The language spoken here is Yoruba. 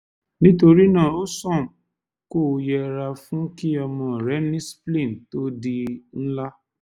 nítorí náà ó sàn kó o yẹra fún kí ọmọ rẹ ní spleen to di ńlá